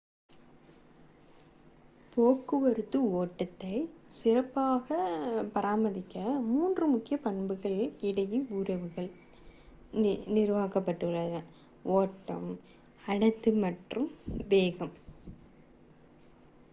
போக்குவரத்து ஓட்டத்தை சிறப்பாக பிரதிநிதித்துவப்படுத்த மூன்று முக்கிய பண்புகளுக்கு இடையில் உறவுகள் நிறுவப்பட்டுள்ளன: 1 ஓட்டம் 2 அடர்த்தி மற்றும் 3 வேகம்